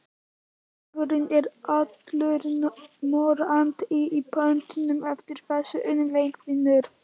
Maður er allur morandi í pöddum eftir þessa unglingavinnu.